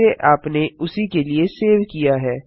जिसे आपने उसी के लिए सेव किया है